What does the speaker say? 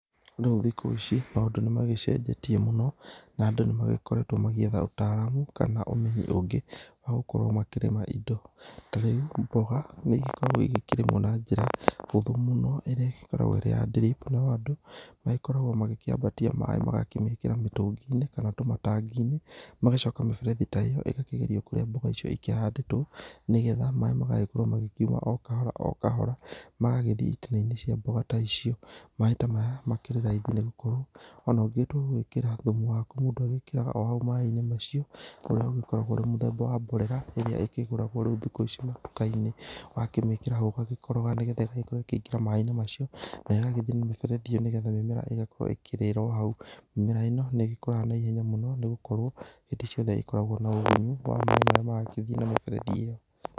Rĩu thikũ ici maũndũ nĩmagĩcenjetie mũno na andũ nĩmagĩkoretwo magĩetha ũtaramu kana ũmenyo ũngĩ wa gũkorwo makĩrĩma indo, ta rĩu mboga nĩigĩkoragwo igĩkĩrĩmwo na njĩra hũthũ mũno ĩrĩa ĩgĩkoragwo ĩrĩ ya drip, no andũ magĩkoragwo magĩkĩambatia maaĩ magakĩmekĩra mĩtungi-inĩ kana tũmatangi-inĩ magacoka mĩberethi ta ĩyo ĩgakĩgerio kũrĩa mboga icio ikĩhandĩtwo nĩgetha maaĩ magagĩkorwo magĩkiuma okahora okahora magagĩthiĩ itina-inĩ cia mboga ta icio, maaĩ ta maya makĩrĩraithi nĩ gũkorwo o na ũngĩtua gwĩkĩra thumu waku mũndũ agĩkĩraga o hau maaĩ-inĩ macio ũrĩa ũgĩkoragwo ũrĩ mũthemba wa mborera ĩrĩa ĩkĩgũragwo ĩkĩgũragwo thikũ ici matukainĩí, ũgakĩmĩkĩra hau ũgagĩkoroga nĩgetha ĩgagĩkorwo ĩkĩingĩra maaĩ-inĩ macio na ĩgagĩthiĩ na mĩberethi ĩ yo nĩgetha mĩmera ĩgagĩkorwo ĩkĩrĩra o hau, mĩmera ĩ no nĩĩgĩkũraga na ihenya mũno nĩgũkorwo hĩndĩ ciothe ĩkoragwo na ũgunyu wa maaĩ marĩa maragĩthiĩ na mĩberethi ĩyo.